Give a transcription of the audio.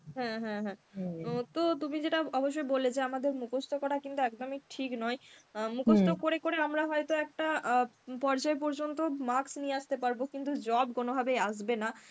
হুম, হুম, হুম তো তো তুমি যেটা অবশ্যই বললে যে আমাদের মুখস্ত করা কিন্তু একদমই ঠিক নয়, মুখস্ত করে করে আমরা হয়তো একটা অ্যাঁ পর্যায় পর্যন্ত marks নিয়ে আসতে পারব কিন্তু job কোনভাবেই আসবে না.